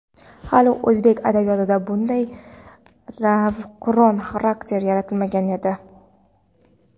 Hali o‘zbek adabiyotida bunday navqiron xarakter yaratilmagan edi.